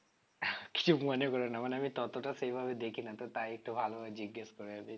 কিছু মনে করো না মানে আমি ততটা ও সেভাবে দেখি না তো তাই একটু ভালোভাবে জিজ্ঞেস করে নিচ্ছি